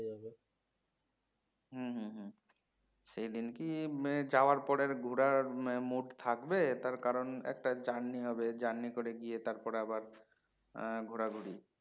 হম হম হম সেই দিন কি যাওয়ার পরে আর ঘোরার mood থাকবে তার কারণ একটা journey হবে journey করে গিয়ে তারপরে আবার উম ঘোরাঘুরি